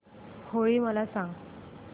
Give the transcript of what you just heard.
होळी मला सांगा